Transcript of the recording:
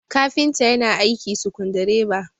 kafinta yana aiki sukundi reba